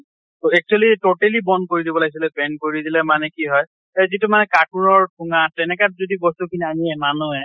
actually totally ban কৰি দিব লাগিছিল ban কৰি দিলে মানে কি হয় এই যিটো মানে কাপোৰ ঠোঙ্গা তেনেকাত যদি বস্তু কিনে আনি মানুহে